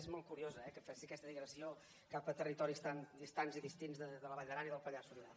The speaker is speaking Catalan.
és molt curiós eh que faci aquesta digressió cap a territoris tan distants i distints de la vall d’aran i del pallars sobirà